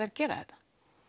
að gera þetta